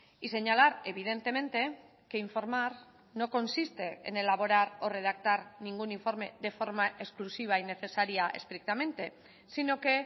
y señalar evidentemente que informar no consiste en elaborar o redactar ningún informe de forma exclusiva y necesaria estrictamente sino que